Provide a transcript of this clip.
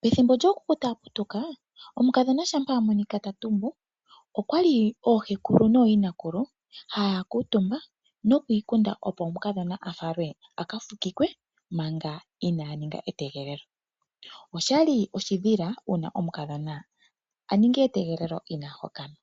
Pethimbo lyookuku taya putuka shampa omukadho a monika ta tumbuka oohekulu noyinakulu ohaya kuutumba yiikunde, opo omukadho a falwe aka fukikwe manga ina ninga etegelelo, oshoka oshali sha tali kako oshimpwe nenge oshidhila uuna omukadhona a ninga etegelelo ina hokanwa.